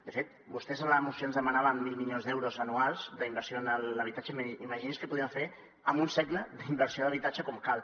de fet vostès en la moció ens demanaven mil milions d’euros anuals d’inversió en l’habitatge imaginin se què podríem fer en un segle d’inversió d’habitatge com cal